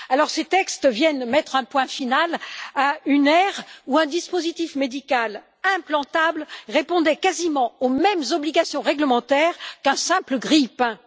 Ces textes viennent mettre un point final à une ère où un dispositif médical implantable répondait quasiment aux mêmes obligations réglementaires qu'un simple grille pain.